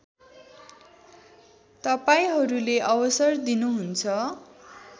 तपाईँहरूले अवसर दिनुहुन्छ